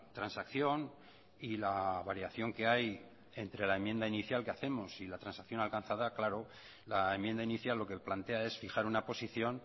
transacción y la variación que hay entre la enmienda inicial que hacemos y la transacción alcanzada claro la enmienda inicial lo que plantea es fijar una posición